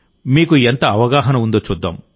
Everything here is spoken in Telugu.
మీకు ఎంత అవగాహన ఉందో చూద్దాం